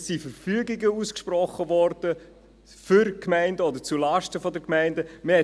es wurden Verfügungen ausgesprochen zugunsten oder zulasten der Gemeinden.